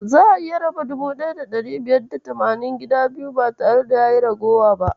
Za'a iya raba 1580 gida biyu ba tare da ragowa ba.